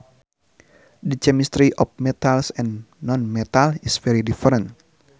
The chemistry of metals and nonmetals is very different